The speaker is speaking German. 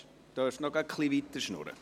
Sie können noch etwas weiter plaudern.